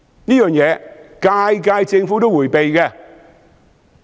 這一點，每屆政府也迴避。